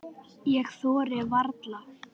Ég þori varla.